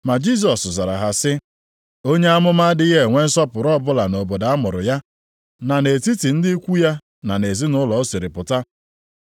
Ma Jisọs zara ha sị, “Onye amụma adịghị enwe nsọpụrụ ọbụla nʼobodo a mụrụ ya, na nʼetiti ndị ikwu ya na nʼezinaụlọ o siri pụta.”